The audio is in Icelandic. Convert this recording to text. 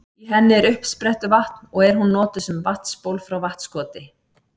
Í henni er uppsprettuvatn og er hún notuð sem vatnsból frá Vatnskoti.